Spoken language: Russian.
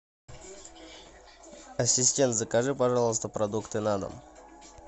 ассистент закажи пожалуйста продукты на дом